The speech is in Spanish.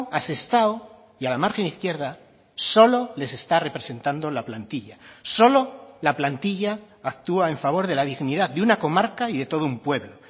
a sestao y a la margen izquierda solo les está representando la plantilla solo la plantilla actúa en favor de la dignidad de una comarca y de todo un pueblo